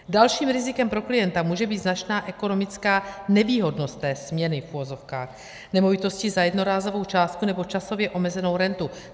Dalším rizikem pro klienta může být značná ekonomická nevýhodnost té směny, v uvozovkách, nemovitosti za jednorázovou částku nebo časově omezenou rentu.